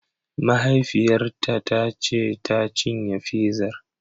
Mahaifiyarta ta ce tacinye fizar!